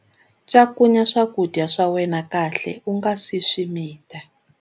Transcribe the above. Cakunya swakudya swa wena kahle u nga si swi mita